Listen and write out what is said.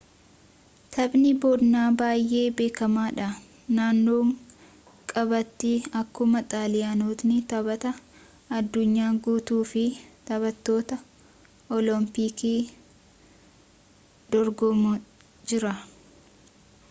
taphni bonaa baay'ee beekamaa dha naannoo kaabaatti akkuma xaaliyaanotni taphaa addunyaa guutuufi taphoota olompikiif dorgomaa jiran